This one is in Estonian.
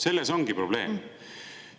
Selles ongi probleem!